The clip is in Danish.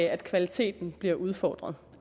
at kvaliteten bliver udfordret